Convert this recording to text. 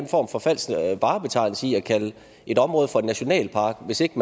en form for falsk varebetegnelse i at kalde et område for en nationalpark hvis ikke